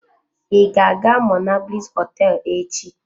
I ga-aga monablis hoteelu echi?